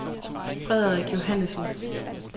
Frederik Johannesen